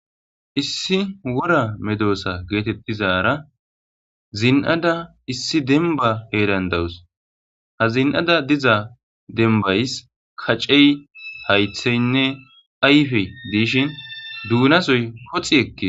issi wora medoosa geetettizara zin7ada issi denba heerandawus ha zin7ada diza dembays kacey haytheynne ayfe diishin duunasoy koxi ekke